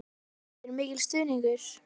Berghildur: Mikil stuðningur?